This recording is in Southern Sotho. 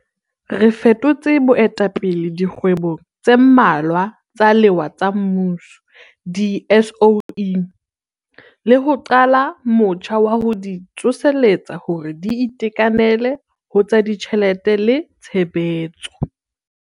Re fetotse boetapele dikgwebong tse mmalwa tsa lewa tsa mmuso di-SOE, le ho qala motjha wa ho di tsoseletsa hore di itekanele ho tsa ditjhelete le tshebetso.